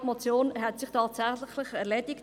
Ja, die Motion hat sich tatsächlich erledigt.